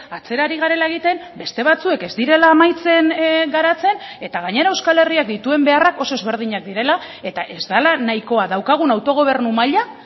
atzera ari garela egiten beste batzuek ez direla amaitzen garatzen eta gainera euskal herriak dituen beharrak oso ezberdinak direla eta ez dela nahikoa daukagun autogobernu maila